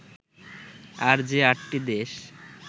আর যে আটটি দেশ